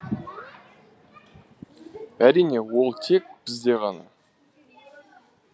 әрине ол тек бізде ғана